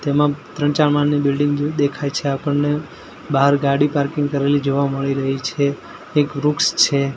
તેમાં ત્રણ ચાર માળની બિલ્ડીંગ જેવી દેખાય છે આપણને બહાર ગાડી પાર્કિંગ કરેલી જોવા મળી રહી છે એક વૃક્ષ છે.